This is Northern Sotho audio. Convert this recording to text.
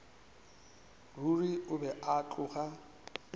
ruri o be a tloga